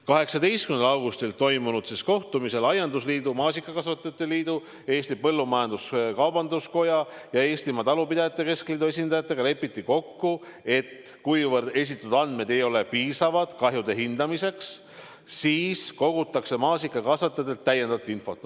18. augustil toimunud kohtumisel aiandusliidu, maasikakasvatajate liidu, Eesti Põllumajandus-Kaubanduskoja ja Eestimaa Talupidajate Keskliidu esindajatega lepiti kokku, et kuna esitatud andmed ei ole piisavad kahjude hindamiseks, siis kogutakse maasikakasvatajatelt täiendavat infot.